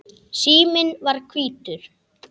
Síminn var hvítur.